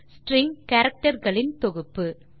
string character களின் தொகுப்பு